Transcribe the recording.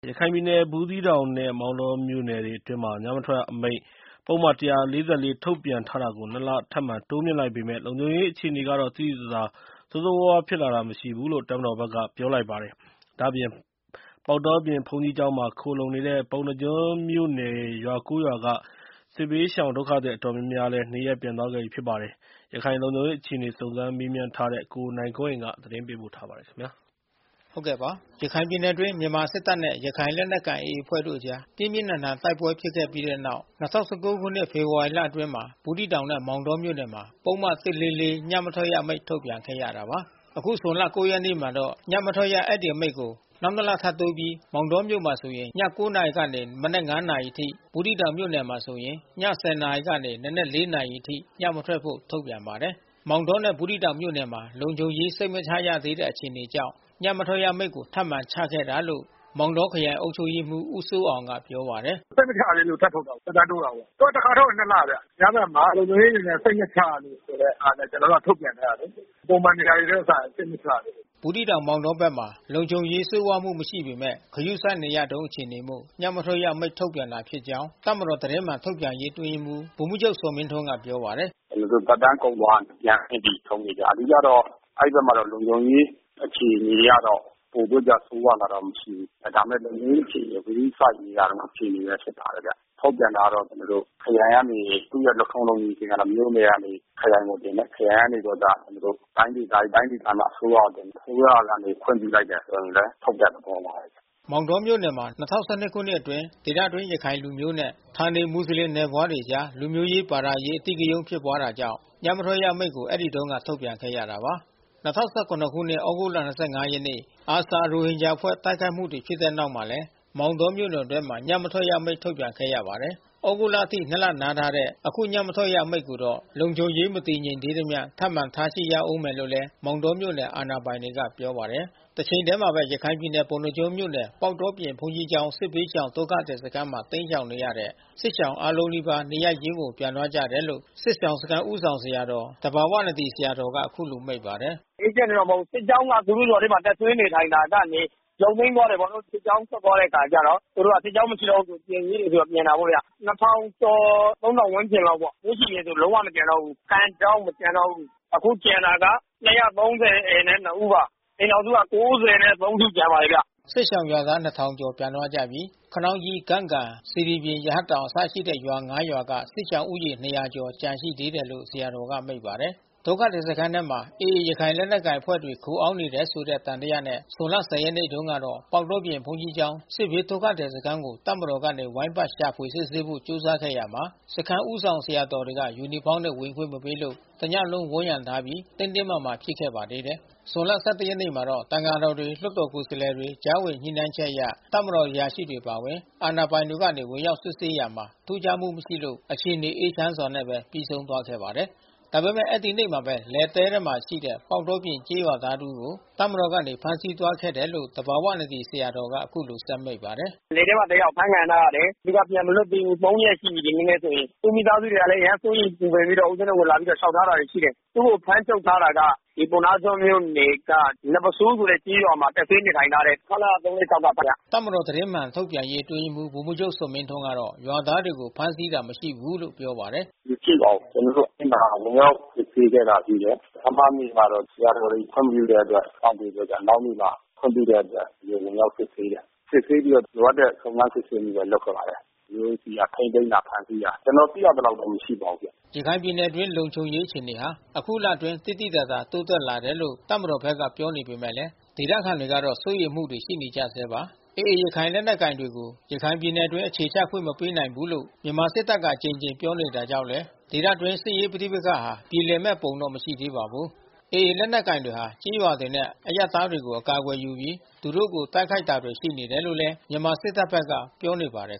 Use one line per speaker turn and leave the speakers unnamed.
ရခိုင်ပြည်နယ် ဘူးသီးတောင်နဲ့ မောင်တောမြို့နယ်တွေအတွင်း ညမထွက်ရအမိန့် ပုဒ်မ ၁၄၄ ထုတ်ပြန်ထားတာ ကို နှစ်လ ထပ်မံတိုးမြင့်လိုက်ပေမယ့်၊ လုံခြုံရေးအခြေအနေကတော့ သိသိသာသာ ဆိုးဆိုးဝါးဝါးဖြစ်လာ တာမရှိ ဘူး လို့ တပ်မတော်ဖက်ကပြောပါတယ်။ ဒါ့အပြင် ပေါက်တောပြင်ဘုန်းကြီးကျောင်းမှာ ခုံလှုံနေတဲ့ ပုဏ္ဏားကျွန်းမြို့ နယ် ရွာ၉ ရွာက စစ်ဘေးဒုက္ခသည်အတော်များများ နေရပ်ပြန်သွားခဲ့ပါတယ်။ ရခိုင်လုံခြုံရေးအခြေအနေ စုံစမ်း မေးမြန်းထားတဲ့ ကိုနိုင်ကွန်းအိန် သတင်းပေးပို့ထားပါတယ်။ ရခိုင်ပြည်နယ်အတွင်း မြန်မာစစ်တပ်နဲ့ရခိုင်လက်နက်ကိုင်AAအဖွဲ့တို့အကြား ပြင်းပြင်းထန်ထန်တိုက်ပွဲ တွေဖြစ်ခဲ့တဲ့နောက် ၂၀၁၉ ဖေဖော်ဝါရီလ အတွင်းက ဘူးသီးတောင်နဲ့ မောင်းတောမြို့နယ်တွေမှာ ပုဒ်မ ၁၄၄ ညမထွက်ရအမိန့် ထုတ်ပြန်ခဲ့ရတာပါ။ အခု ဇွန်လ ၉ ရက်နေ့မှာတော့ ညမထွက်ရ အဲဒီအမိန့်ကို နောက်နှစ် လတိုးပြီး၊ မောင်တောမြို့နယ်မှာဆိုရင် ည ၉နာရီမှ နံနက် ၅ နာရီအထိ၊ ဘူးသီးတောင်မြို့နယ်မှာဆိုရင် ည၁၀ နာရီမှ နံနက် ၄ နာရီအထိ ညမထွက်ဖို့ ထုတ်ပြန်ပါတယ်။ မောင်တောနှင့် ဘူးသီးတောင်မြို့နယ်မှာလုံခြုံရေးစိတ်မချရသေးတဲ့အခြေအနေကြောင့် ညမထွက်ရအမိန့်ကို ထပ်မံချခဲ့တာလို့မောင်တောခရိုင်အုပ်ချုပ်ရေးမှူးဦးစိုးအောင်ကပြောပါတယ်
။ “စိတ်မချရသေးလို့ထပ်ထုတ်တာပေါ့။ သက်တမ်းတိုးတာပေါ့။ သူကတခါ ထုတ်ရင် လဗျ။ များသောအားဖြင့်လုံခြုံ ရေး စိတ်မချရလို့ဆိုတာနဲ့ ကျွန်တော်တို့ကထုတ်ပြန်ထားတာလေ။ ပုံမှန်နေရာတွေနဲ့စာရင်စိတ်မချရသေးလို့
။ ဘူးသီးတောင် မောင်တောဖက်မှာ လုံခြုံရေးဆိုးဝါးမှုမရှိပေမဲ့ ဂရုစိုက်နေရတုန်းအခြေအနေရှိလို့ ညမထွက်ရ အမိန့်ထုတ်ပြန်တာဖြစ်ကြောင်း တပ်မတော်သတင်းမှန်ထုတ်ပြန်ရေး အတွင်းရေးမှူး ဗိုလ်မှူးချုပ် ဇော်မင်းထွန်းကပြောပါတယ်
။ “ကျွန်တော်တို့သက်တန်းကုန်သွားလို့ ပြန်ဆင့်ပြီးထုတ်နေကြ။ အဓိကတော့ အဲဒီဖက်မှာတော့ လုံခြုံရေးအခြေအနေ ကတော့ ပိုပြီးတော့ ဆိုးဝါးလာတာမရှိဘူး။ ဒါပေမယ့် လုံခြုံရေးအခြေအနေ ဂရုစိုက်နေရတုန်းအခြေအနေဘဲဖြစ်ပါတယ်ဗျ။ ထုတ်ပြန်တာကတော့ ခရိုင်ကနေ သူ့ရဲ့လုပ်ထုံးလုပ်နည်း အဆင့်က မြို့နယ်ကနေ ခရိုင်ကိုတင်တယ်။ ခရိုင်ကနေပြီး တော့မှ တိုင်းဒေသကြီး တိုင်းဒေသမှအစိုးရကို တင်တယ်။ အစိုးရကနေခွင့်ပြုလိုက်ပြီဆိုရင်လဲ ထုတ်တဲ့ သဘောပါဘဲ
။” မောင်တောမြို့နယ်မှာ ၂၀၁၂ခုနှစ်အတွင်း ဒေသတွင်းရခိုင်လူမျိုးနဲ့ ဌာနေ မွတ်စလင်နွယ်ဖွားတွေအကြား လူမျိုးရေး ဘာသာရေး အဓိက ရုဏ်းဖြစ်တာကြောင့် ညမထွက်ရအမိန့် အဲဒီတုန်းက ထုတ်ပြန်ခဲ့ရပါတယ်။ ၂၀၁၇ခုနှစ် သြဂုတ်လ ရက်နေ့ ARSA ရိုဟင်ဂျာအဖွဲ့ တိုက်ခိုက်မှုတွေဖြစ်တဲ့နောက်မှာလည်း မောင်းတော မြို့နယ်တွင်းမှာ ညမထွက်ရ အမိန့်ထုတ်ပြန်ခဲ့ရပါတယ်။ သြဂုတ်လအထိ နှစ်လတိုးထားတဲ့ အခုညမထွက်ရအမိန့်ကိုတော့ လုံခြုံရေးမတည်ငြိမ်သေးသမျှ ထပ်မံထားရှိဦး မယ်လို့လည်း မောင်းတောမြို့နယ်အာဏာပိုင်တွေက ပြောပါတယ်။ တချိန်တည်းမှာတော့ ရခိုင်ပြည်နယ် ပုဏ္ဏားကျွန်းမြို့နယ် ၊ပေါက်တောပြင်ဘုန်းကြီးကျောင်း စစ်ဘေးဒုက္ခသည် စခန်း မှာတိမ်းရှောင်နေတဲ့ စစ်ရှောင်အားလုံးနီးပါး နေရပ်ရင်းကို ပြန်သွားကြတယ်လို့ စစ်ရှောင်စခန်းဦးဆောင် သူသဘာဝနဒီဆရာတော်ကအခုလိုမိန့်ပါတယ်။
“အေးချမ်းတာတော့မဟုတ်ဘူး။ စစ်ကြောင်းကသူတို့ ရွာထဲတပ်စွဲနေထိုင်တာကနေ ရုပ်သိမ်းသွားတယ် ပေါ့နော်။ စစ် ကြောင်းထွက်သွားတဲ့အခါကျတော့ သူတို့က စစ်ကြောင်းမရှိတော့ဘူးဆိုပြီး ပြန်ချင်တဲ့သူတွေ ပြန်တာပေါ့ဗျာ။ ကျော် ဝန်းကျင်လောက်ပေါ့။ ပိုးရွှီပြင်ဆို လုံးဝမကျန်တော့ဘူး။ အခုကျန် တာက ဦးပါ။ အိမ်ထောင်စုက စု ကျန်ပါတယ်ဗျ။
” စစ်ရှောင်ရွာသား ကျော်ပြန်သွားကြပြီး ခနောင်းကြီး၊ ဂန့်ဂါ ၊ စေတီပြင်၊ ရဟတ်တောင် အစရှိတဲ့ရွာ ရွာက စစ်ရှောင်ဦးရေ ကျော်သာ ကျန်ရှိတယ်လို့ ဆရာတော်ကမိန့်ပါတယ်။ ဒုက္ခသည်စခန်းထ ဲAAရခိုင်လက်နက်ကိုင်အဖွဲ့တွေ ခိုအောင်းနေတယ်ဆိုတဲ့သံသယနဲ့ ဇွန် လ ရက်နေ့တုန်း ကတော့ ပေါက်တောပြင်ဘုန်းကြီးကျောင်း စစ်ဘေးဒုက္ခသည်စခန်းကို တပ်မတော်ကနေ ဝိုင်းပတ် ရှာဖွေ စစ်ဆေးဖို့ကြိုးစားရာမှာ စခန်းဦးဆောင် ဆရာတော်တွေက ယူနီဖေါင်းနဲ့ဝင်ခွင့်မပေးလို့ တညလုံး ဝိုင်းရံ ထားခဲ့ပြီး တင်းတင်းမာမာဖြစ်ခဲ့ပါသေးတယ်။ ဇွန်လ ရက်နေ့မှာတော့ သံဃာတော်တွေ လွှတ်တာ်ကိုယ်စားလှယ် တွေကြားဝင်ညှိနှိုင်းချက်အရ တပ်မတော် အရာရှိတွေအပါအဝင် အာဏာပိုင်တွေကနေ ဝင်ရောက်စစ်ဆေးရာမှာ ထူးခြားမှုမရှိလို့ အခြေအနေအေးချမ်းစွာ ပြီးဆုံးသွားပါတယ်။ ဒါပေမဲ့ အဲဒီနေ့မှာဘဲ လယ်တဲမှာရှိနေတဲ့ ပေါက်တော ပြင်ကျေးရွာသားတဦးကို တပ်မတော်ကနေ ဖမ်းဆီးသွားခဲ့ တယ်လို့ သဘာဝနဒီဆရာတော်က အခုလိုဆက်မိန့်ပါတ
ယ်။ “လယ်ထဲမှာတယောက်အဖမ်းခံထားရတယ်။ သူကပြန်အလွတ်သေးဘူး။ ရက်ရှိနေပြီ ဒီနေ့နဲ့ဆိုရင်။ သူ့မိသားစု တွေ ကလဲအရမ်းစိုးရိမ်ပူပန်ပြီးတော့ လာပြီးလျှောက်ထားတာ တွေရှိတယ်။ သူ့ကိုဖမ်းချုပ်ထားတာက ပုဏ္ဏားကျွန်းမြို့နယ်က နတ်ပုဆိုးဆိုတဲ့ ကျေးရွာမှာ တပ်စွဲနေထိုင်ထားတဲ့ ခလရ ကခင်ဗျ။
” တပ်မတော်သတင်းမှန်ထုတ်ပြန်ရေးအတွင်းရေးမှူးဗိုလ်မှူးချုပ်ဇော်မင်းထွန်းကတော့ ရွာသားတွေကိုဖမ်းဆီးတာ မရှိဘူးလို့ပြောပါတယ်
။ “မရှိပါဘူး။ ကျွန်တော်တို့အဲဒီမှာ ဝင်ရောက်စစ်ဆေးခဲ့တာရှိတယ်။ ပထမနေ့မှာတော့ ဆရာတော်တွေ ခွင့်မပြုတဲ့ အတွက် စောင့်ပေးပြီးတော့နောက်နေ့မှာ ခွင့်ပြုတဲ့အတွက် ဝင်ရောက်စစ်ဆေးတယ်။ စစ်ဆေးပြီးတော့လိုအပ်တဲ့ စုံစမ်းစစ်ဆေးမှု တွေလုပ်ခဲ့ပါတယ်။ ကျွန်တော်တို့ဆီက ဖမ်းဆီးတာ ထိန်းသိမ်းတာ ကျွန်တော်သိရသလောက် တော့မရှိပါဘူးဗျ။
” ရခိုင်ပြည်နယ်အတွင်း လုံခြုံရေးအခြေအနေဟာ အခုလအတွင်း သိသိသာသာ တိုးတက်လာတယ်လို့ တပ်မတော် ဖက်က ပြောနေပေမယ့်လည်း ဒေသခံတွေကတော့ စိုးရိမ်မှုတွေရှိနေကြဆဲပါ။ AA ရခိုင်လက်နက်ကိုင်တွေကို ရခိုင်ပြည်နယ်အတွင်း အခြေချခွင့်မပေးနိုင်ဘူးလို့ မြန်မာစစ်တပ်က အကြိမ်ကြိမ်ပြောနေတာကြောင့်လည်း ဒေသတွင်း စစ်ရေးပဋိပက္ခတွေဟာ ပြေလည်မယ့်ပုံတော့ မရှိသေးပါဘူး။ AA လက်နက်ကိုင်တွေဟာ ကျေးရွာတွေနဲ့ အရပ်သားတွေကို အကာအကွယ်ယူပြီး သူတို့ကို တိုက်ခိုက်တာတွေ ရှိနေတယ်လို့ မြန်မာစစ်တပ်ဖက်က ပြောနေ ပါတယ်